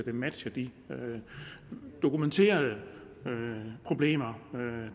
at matche de dokumenterede problemer